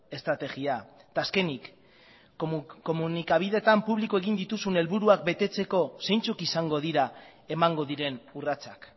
estrategia eta azkenik komunikabideetan publiko egin dituzun helburuak betetzeko zeintzuk izango dira emango diren urratsak